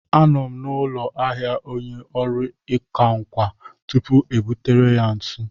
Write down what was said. A nọ m n'ụlọ ahịa onye ọrụ ịkwa nkà tupuu e butere ya ntu.